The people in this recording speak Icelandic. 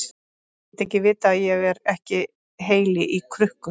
Ég get ekki vitað að ég er ekki heili í krukku.